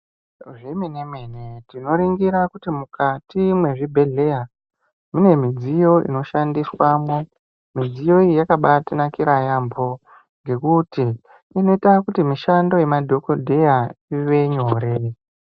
Zvemene mene tinoringira kuti mukati mwezvibhedhlera mune midziyo inoshandiswamwo midziyo iyi yakabatinakira yambo ngekuti inoita kuti mishando yemadhokodheya ivenyore.